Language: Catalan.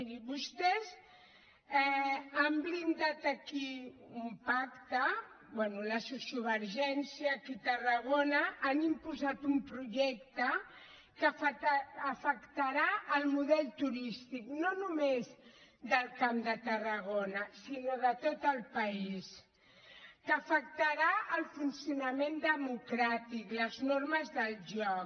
miri vostès han blindat aquí un pacte bé la sociovergència aquí a tarragona han imposat un projecte que afectarà el model turístic no només del camp de tarragona sinó de tot el país que afectarà el funcionament democràtic les normes del joc